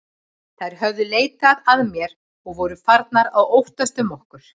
Þær höfðu leitað að mér og voru farnar að óttast um okkur.